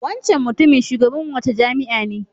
Wancan mutumin Shugaban wace jami'a ne?